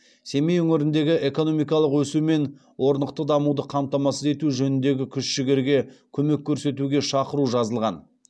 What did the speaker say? семей өңіріндегі экономикалық өсу мен орнықты дамуды қамтамасыз ету жөніндегі күш жігерге көмек көрсетуге шақыру жазылған